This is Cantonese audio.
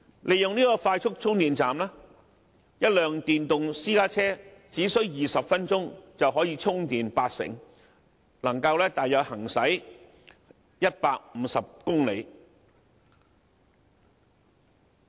利用快速充電站，一輛電動私家車只需20分鐘，便可以充電八成，能夠行駛大約150公里。